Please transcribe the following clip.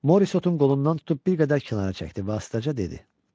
Moris Otu qolundan tutub bir qədər kənara çəkdi və astaca dedi: